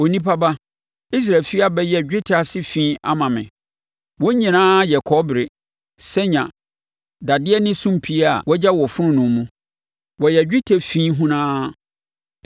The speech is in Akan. “Onipa ba, Israel efie abɛyɛ dwetɛ ase fi ama me; wɔn nyinaa yɛ kɔbere, sanya, dadeɛ ne sumpii a wɔagya wɔ fononoo mu. Wɔyɛ dwetɛ fi hunaa.